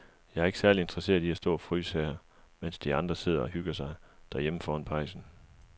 Jeg er ikke særlig interesseret i at stå og fryse her, mens de andre sidder og hygger sig derhjemme foran pejsen.